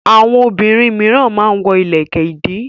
Àwọn obìnrin mìíràn máa ń wọ ilẹ̀kẹ̀-ìdí.